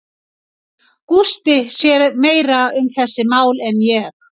Gústi sér meira um þessi mál en ég.